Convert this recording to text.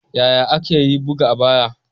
Yaya aka yi buga a baya?